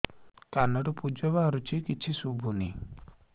କାନରୁ ପୂଜ ବାହାରୁଛି କିଛି ଶୁଭୁନି